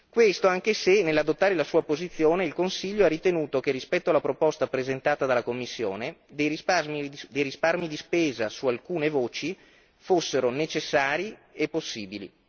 Questo anche se, nell'adottare la sua posizione, il Consiglio ha ritenuto che, rispetto alla proposta presentata dalla Commissione, dei risparmi di spesa su alcune voci fossero necessari e possibili.